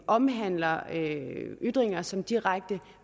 omhandler ytringer som direkte